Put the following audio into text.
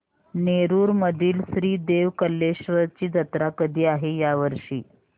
नेरुर मधील श्री देव कलेश्वर ची जत्रा कधी आहे या वर्षी